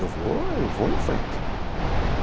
Eu vou, eu vou em frente.